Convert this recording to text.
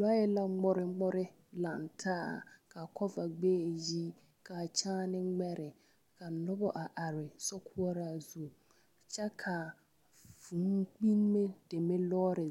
Lɔɛ la ŋmore ŋmore laŋ taa ka kɔva gbɛɛ yi ka kyããne ŋmɛre ka noba a are sokoɔraa zu kyɛka vūūkpinime lɔɔre